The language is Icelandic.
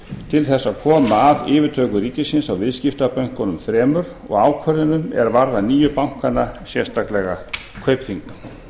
til þess að koma að yfirtöku ríkisins á viðskiptabönkunum þremur og ákvörðunum er varða nýju bankana sérstaklega kaupþing